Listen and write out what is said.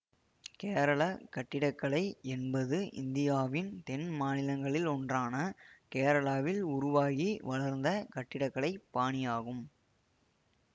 கேரள கட்டிடக்கலை என்பது இந்தியாவின் தென் மாநிலங்களிலொன்றான கேரளாவில் உருவாகி வளர்ந்த கட்டிட கலை பாணியாகும்